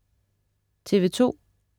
TV2: